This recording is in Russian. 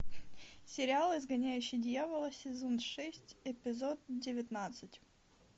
сериал изгоняющий дьявола сезон шесть эпизод девятнадцать